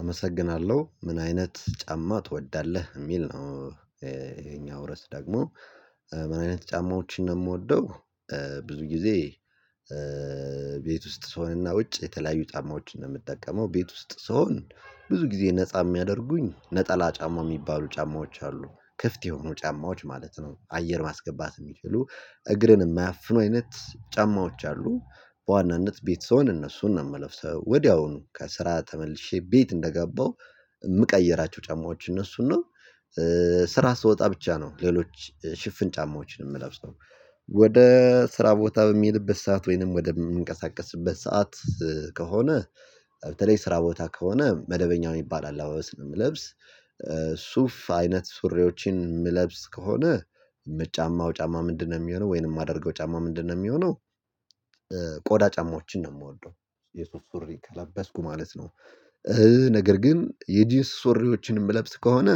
አመሰግናለሁ ምን አይነት ጫማ ትወዳለህ የሚል ነው። ይሄኛው ርዕስ ደግሞ ምን አይነት ጫማዎችን ነው የምወደው። ብዙ ጊዜ። ቤት ውስጥ ስሆንና ውጭ የተለያዩ ጫማዎችን ነው የምጠቀመው ቤት ውስጥ ስሆን ብዙ ጊዜ ነፃ የሚያደርጉኝ ነጠላ ጫማ የሚባሉ ጫማዎች አሉ። ክፍት የሆኑ ጫማዎች ማለት ነው አየር ማስገባት የሚችሉ እግርን የማያፍኑ አይነት ጫማዎች አሉ። በዋናነት ቤት ስሆን እነሱን ነው የምለብሰው ወዲያውኑ ከስራ ተመልሼ ቤት እንደገባሁ የምቀይራቸው ጫማዎች እነሱን ነው። ስራ ስትወጣ ብቻ ነው ሌሎች ሽፍን ጫማዎችን የምለብሰው። ወደ ስራ ቦታ በሚልበት ሰዓት ወይንም ወደምንቀሳቀስበት ሰዓት ከሆነ በተለይ ስራ ቦታ ከሆነ መደበኛ የሚባል አለባስ ነው የምለብስ። ሱፍ አይነት ሱሪዎችን ምለብስ ከሆነ የምጫማው ጫማ ምንድነው? የሚሆነው ወይንም የማደርገው ጫማ ምንድነው? የሚሆነው ቆዳ ጫማዎችን ነው የምወደው። የሱፍ ሱሪ ከለበስኩ ማለት ነው። ነገር ግን የጂንስ ሱሪዎችን የምለብስ ከሆነ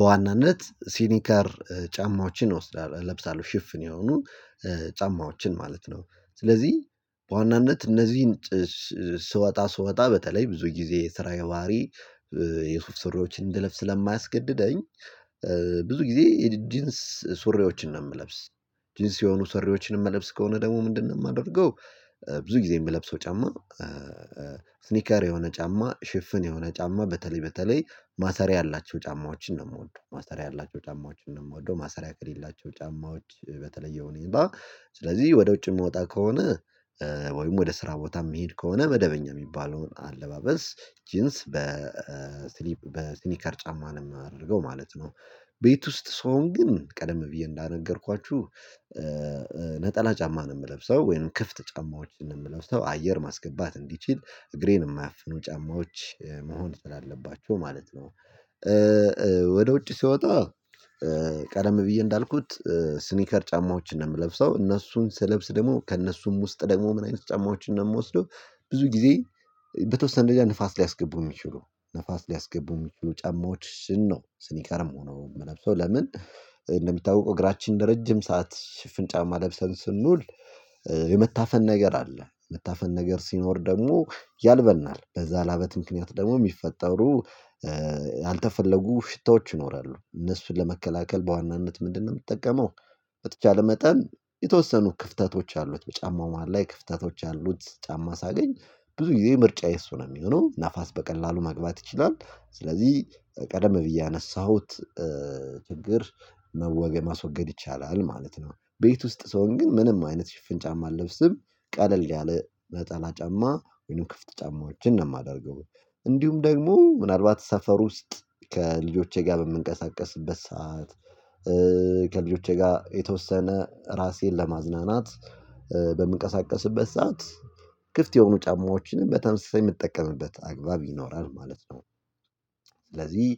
በዋናነት ሲኒከር ጫማዎችን እወስዳለሁ። እለብሳለሁ ሽፍን የሆኑ ጫማዎችን ማለት ነው። ስለዚህ በዋናነት እነዚህን ስወጣ ስወጣ በተለይ ብዙ ጊዜ የስራዬ ባሀሪ የሱፍ ስሪዎችን እንድለብስ ስለማያስገድደኝ። ብዙ ጊዜ ጂንስ ሱሪዎችን ነው የምለብስ። ጂንስ የሆኑ ሰሪዎችን የምለብስ ከሆነ ደግሞ ምንድነው የማደርገው? ብዙ ጊዜ የምለብሰው ጫማ። ስኒከር የሆነ ጫማ ሽፍን የሆነ ጫማ በተለይ በተለይ ማሰሪያ ያላቸው ጫማዎችን ነው የምወደው። ማሰሪያ ያላቸው ጫማዎችን ነው የምወደው። ማሰሪያ ከሌላቸው ጫማዎች በተለየው ሁኔታ ስለዚህ ወደ ውጭ የምወጣ ከሆነ። ወይም ወደ ስራ ቦታ የሚሄድ ከሆነ መደበኛ የሚባለውን አለባበስ ጂንስ በስሊፕ በስኒከር ጫማ ነው የማደርገው ማለት ነው። ቤት ውስጥ ስሆን ግን ቀደም ብዬ እንጀነገርኳችሁ። ነጠላ ጫማ ነው የምለብሰው ወይንም ክፍት ጫማዎችን ነው የምለብሰው አየር ማስገባት እንዲችል እግሬን የማያፍኑ ጫማዎች መሆን ስላለባቸው ማለት ነው። ወደ ውጭ ስወጣ። ቀደም ብዬ እንዳልኩት ስኒከር ጫማዎችን ነው የምለብሰው እነሱን ስለብስ ደግሞ ከእነሱም ውስጥ ደግሞ ምን አይነት ጫማዎችን ነው የምወስደው? ብዙ ጊዜ። በተወሰነ ደረጃ ንፋስ ሊያስገቡ የሚችሉ ንፋስ ሊያስገቡ የሚችሉ ጫማዎችን ነው ስኒካርም ሆኖ የምለብሰው ለምን እንደሚታወቀው እግራችን ለረጅም ሰዓት ሽፍን ጫማ ለብሰን ስንውል። የመታፈን ነገር አለ የመታፈን ነገር ሲኖር ደግሞ ያልበናል በዛ ላበት ምክንያት ደግሞ የሚፈጠሩ። ያልተፈለጉ ሽታዎች ይኖራሉ እነሱን ለመከላከል በዋናነት ምንድነው የምትጠቀመው? በተቻለ መጠን የተወሰኑ ክፍተቶች ያሉት በጫማው መሃል ላይ ክፍተቶች ያሉት ጫማ ሳገኝ ብዙ ጊዜ ምርጫዬ እሱ ነው የሚሆነው ንፋስ በቀላሉ ማግባት ይችላል። ስለዚህ ቀደም ብዬ ያነሳሁት ችግር መወገድ ማስወገድ ይቻላል ማለት ነው። ቤት ውስጥ ሰሆን ግን ምንም አይነት ሽፍን ጫማ አለብስም። ቀለል ያለ ነጠላ ጫማ ወይም ክፍት ጫማዎችን ነው የማደርገው። እንዲሁም ደግሞ ምናልባት ሰፈር ውስጥ ከልጆቼ ጋር በምንቀሳቀስበት ሰዓት ከልጆቼ ጋር የተወሰነ ራሴን ለማዝናናት በምንቀሳቀስበት ሰዓት ክፍት የሆኑ ጫማዎችንም በተመሳሳይ የምትጠቀምበት አግባብ ይኖራል ማለት ነው። ስለዚህ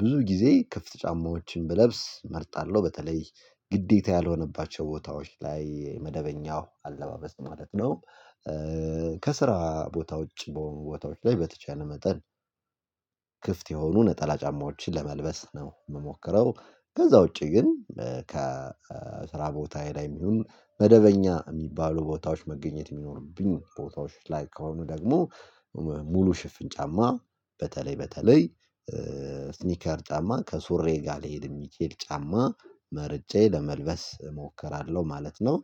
ብዙ ጊዜ ክፍት ጫማዎችን ብለብስ እመርጣለሁ በተለይ ግዴታ ያልሆነባቸው ቦታዎች ላይ መደበኛው አለባበስ ማለት ነው። ከስራ ቦታ ውጪ በሆኑ ቦታዎች ላይ በተቻለ መጠን ክፍት የሆኑ ነጠላ ጫማዎችን ለመልበስ ነው የምሞክረው። ከዛ ውጪ ግን ከስራ ቦታዬ ላይም ይሁን መደበኛ የሚባሉ ቦታዎች መገኘት የሚኖሩብኝ ቦታዎች ላይ ከሆኑ ደግሞ። ሙሉ ሽፍን ጫማ በተለይ በተለይ ስኒከር ጫማ ከሱሬ ጋር ልሄድ የሚችል ጫማ መርጬ ለመልበስ እሞክራለሁ ማለት ነው።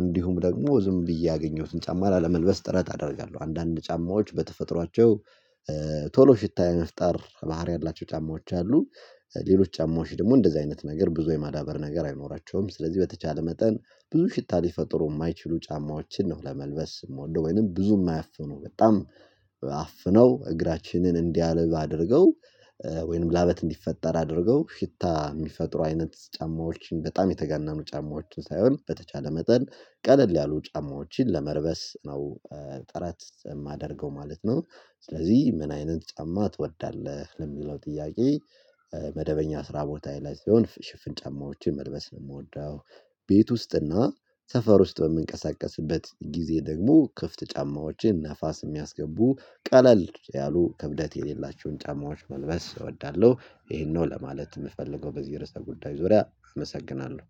እንዲሁም ደግሞ ዝም ብዬ ያገኘሁትን ጫማ ላለመልበስ ጥረት አደርጋለሁ። አንዳንድ ጫማዎች በተፈጥሯቸው ቶሎ ሽታ የመፍጠር ባህሪ ያላቸው ጫማዎች አሉ። ሌሎች ጫማዎች ደግሞ እንደዚህ አይነት ነገር ብዙ የማዳበር ነገር አይኖራቸውም። ስለዚህ በተቻለ መጠን ብዙ ሽታ ሊፈጥሩ የማይችሉ ጫማዎችን ነው ለመልበስ የምወደው ወይንም ብዙ የማያፍኑ በጣም። አፍነው እግራችንን እንዲያልብ አድርገው ወይንም ላበት እንዲፈጠር አድርገው ሽታ የሚፈጥሩ አይነት ጫማዎችን በጣም የተጋነኑ ጫማዎችን ሳይሆን በተቻለ መጠን ቀለል ያሉ ጫማዎችን ለመርበስ ነው። ጥረት የማደርገው ማለት ነው። ስለዚህ ምን አይነት ጫማ ትወዳለህ? ለሚለው ጥያቄ መደበኛ ስራ ቦታ ላይ ሲሆን ሽፍን ጫማዎችን መልበስ ነው የምወደው። ቤት ውስጥና ሰፈር ውስጥ በምንቀሳቀስበት ጊዜ ደግሞ ክፍት ጫማዎችን ነፋስ የሚያስገቡ ቀለል ያሉ ክብደት የሌላቸውን ጫማዎች መልበስ እወዳለሁ። ይሄንን ነው ለማለት የምፈልገው በዚህ የርዕሰ ጉዳይ ዙሪያ አመሰግናለሁ